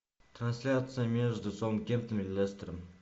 трансляция между саутгемптон и лестером